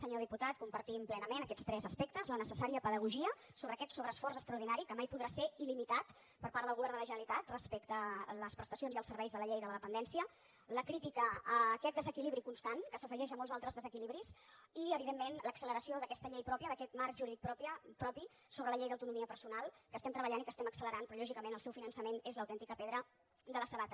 senyor diputat compartim plenament aquests tres aspectes la necessària pedagogia sobre aquest sobreesforç extraordinari que mai podrà ser il·limitat per part del govern de la generalitat respecte a les prestacions i els serveis de la llei de la dependència la crítica a aquest desequilibri constant que s’afegeix a molts altres desequilibris i evidentment l’acceleració d’aquesta llei pròpia d’aquest marc jurídic propi sobre la llei d’autonomia perso nal que estem treballant i que estem accelerant però lògicament el seu finançament és l’autèntica pedra de la sabata